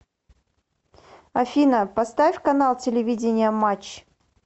афина поставь канал телевидения матч